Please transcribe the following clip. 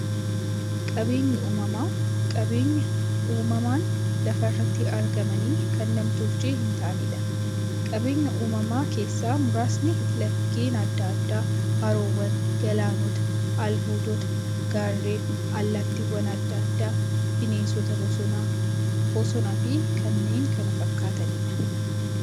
Qaabeenyi uumamaa qabeenya uumamaan lafa irratti argamanii, kan nam-tolchee hintaaneedha. Qabeenya uumamaa keessaa muraasni; laggeen adda addaa, haroowwan, galaanota, albuudota, gaarreen, allattiiwwan adda addaa, bineensota bosonaa, bosonafi kanneen kana fakkataniidha.